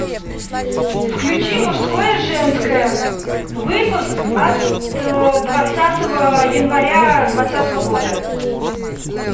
включи мужское женское выпуск от двадцатого января двадцатого года